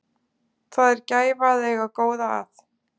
Það er gæfa að eiga góða að.